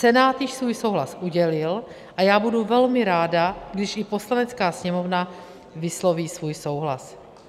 Senát již svůj souhlas udělil a já budu velmi ráda, když jí Poslanecká sněmovna vysloví svůj souhlas.